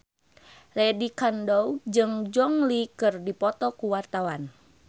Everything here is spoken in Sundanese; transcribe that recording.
Lydia Kandou jeung Gong Li keur dipoto ku wartawan